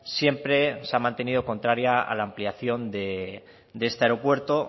siempre se ha mantenido contraria a la ampliación de este aeropuerto